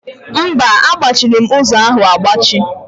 Mba, a gbachiri ọnụ ụzọ ahụ agbachi.